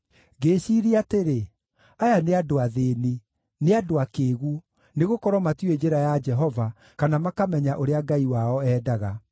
Ngĩĩciiria atĩrĩ: “Aya nĩ andũ athĩĩni; nĩ andũ akĩĩgu, nĩgũkorwo matiũĩ njĩra ya Jehova, kana makamenya ũrĩa Ngai wao endaga.